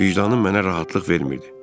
Vicdanım mənə rahatlıq vermirdi.